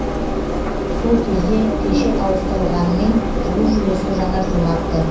сол кезде пеші ауыстырылғанымен жылу жүйесі жаңартылмапты